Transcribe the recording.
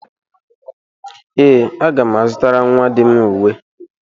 Ee, aga m azutara nnwa di m uwe